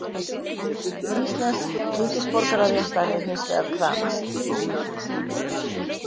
Íslensks ríkisborgararéttar er hins vegar krafist.